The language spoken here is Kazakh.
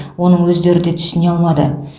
оны өздері де түсіне алмады